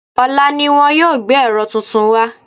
Ọ̀la ni wọ́n yóò gbé ẹ̀rọ tuntun wá